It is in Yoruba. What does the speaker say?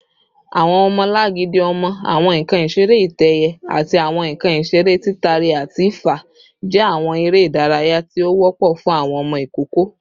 Awọn ọmọlangidi ọmọ, awọn nkan isere itẹ-ẹiyẹ, ati awọn nkan isere titari-ati-fa jẹ awọn ere idaraya ti o wọpọ fun awọn ọmọ ikoko